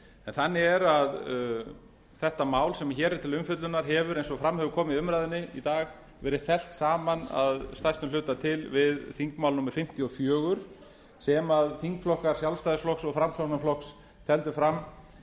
þannig er að þetta mál sem hér er til umfjöllunar hefur eins og fram hefur komið í umræðunni í dag verið fellt saman að stærstum hluta til við þingmál númer fimmtíu og fjögur sem þingflokkar sjálfstæðisflokks og framsóknarflokks tefldu fram